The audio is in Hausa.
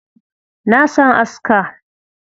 Na san aska.